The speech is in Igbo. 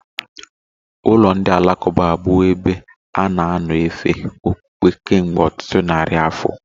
Ụlọ ndi alakụba abụwo ebe a na-anọ efe okpukpe kemgbe ọtụtụ narị afọ